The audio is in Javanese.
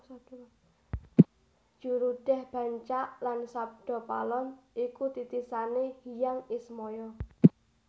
Jurudeh Bancak lan Sabdapalon iku titisane Hyang Ismaya